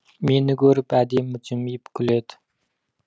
мені көріп әдемі жымиып күледі